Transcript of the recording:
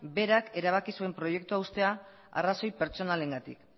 berak erabaki zuen proiektua uztea arrazoi pertsonalengatik